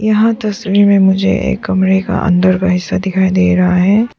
यहाँ तस्वीर में मुझे एक कमरे के अंदर का हिस्सा दिखाई दे रहा है।